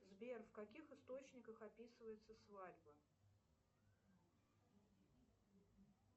сбер в каких источниках описывается свадьба